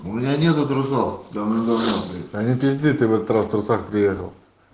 у меня нету трусов давным давно да не пизди ты в этот раз в трусах приехал